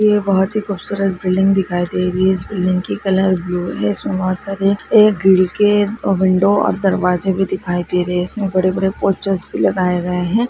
बहुत ही खूबसूरत बिल्डिंग दिखाई दे रही है इस बिल्डिंग की कलर ब्लू है इस में बहुत सारे एक खिड़की विंडो और दरवाजे भी दिखाई दे रही है इस में बड़े बड़े पोस्टर्स भी लगाए गए है।